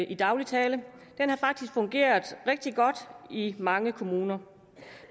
i daglig tale har faktisk fungeret rigtig godt i mange kommuner